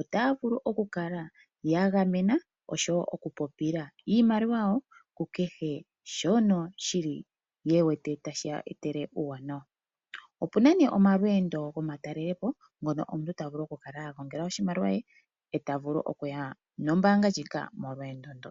otaya vulu oku kala ya gamena oshowo oku popila iimaliwa yawo ku kehe shono shili ye wete tashiya etele uuwanawa. Opuna nee omalweendo gomatalele po ngono taga omuntu a gongela oshimaliwa she ye ta vulu okuya nombaanga ndjika molweendo ndo